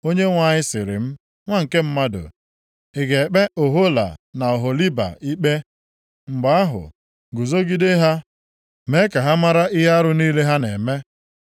Onyenwe anyị sịrị m, “Nwa nke mmadụ, ị ga-ekpe Ohola na Oholiba ikpe? Mgbe ahụ, guzogide ha mee ka ha mara ihe arụ niile ha na-eme.